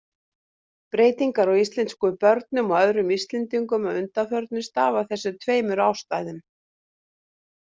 Breytingar á íslenskum börnum og öðrum Íslendingum að undanförnu stafa af þessum tveimur ástæðum.